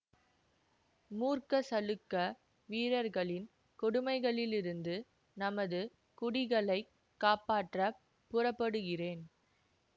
மூர்க்க சளுக்க வீரர்களின் கொடுமைகளிலிருந்து நமது குடிகளைக் காப்பாற்றப் புறப்படுகிறேன்